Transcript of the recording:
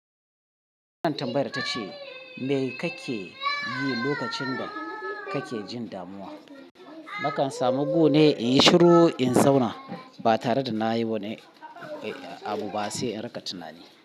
Wannan tambayar tace me kake yi lokacin da kake jin damuwa? Nakan samu gone in yi shiru in zauna ba tare da nayi wani abu ba sai in rika tunani.